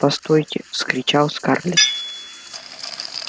постойте вскричал скарлетт